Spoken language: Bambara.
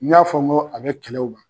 N y'a fɔ n ko a bɛ kɛlɛw ban.